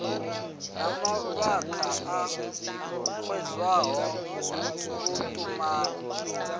na mavhaka a xedzaho vhuṱumani